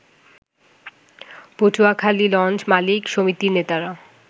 পটুয়াখালীলঞ্চ মালিক সমিতির নেতারা